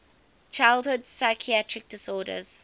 childhood psychiatric disorders